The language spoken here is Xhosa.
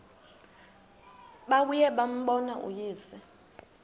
babuye bambone uyise